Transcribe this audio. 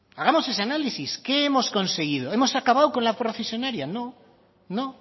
hagamos ese análisis qué hemos conseguido hemos acabado con la procesionaria no